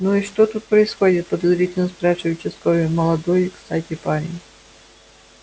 ну и что тут происходит подозрительно спрашивает участковый молодой кстати парень